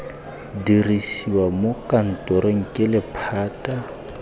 dirisiwa mo kantorong ke lephata